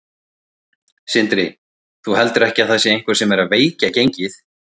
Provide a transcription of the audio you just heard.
Sindri: Þú heldur ekki að það sé einhver sem er að veikja gengið?